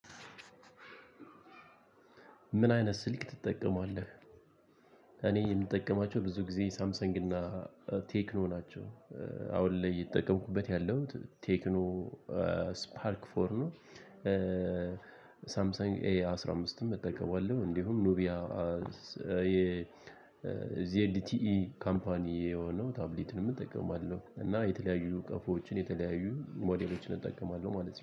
ምን አይነት ስልክ ትጠቀማለህ? እኔ የምጠቀማቸው ብዙ ጊዜ ሳምሰንግ እና ቴክኖ ናቸው። አሁን ላይ የተጠቀምኩበት ያለሁት ቴክኖ ስፓርክ ፎር ነው። ሳምሰንግ ኤ አስራ አምስትም እጠቀማለሁ እንዲሁም ኑቢያ የዜድቲኢ ካምፓኒ የሆነው ታብሊትንም እጠቀማለሁ። እና የተለያዩ ቀፎዎችን የተለያዩ ሞዴሎችን እጠቀማለሁ ማለት ነው